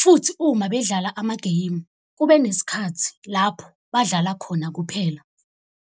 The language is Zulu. futhi uma bedlala amageyimu kube nesikhathi lapho badlala khona kuphela.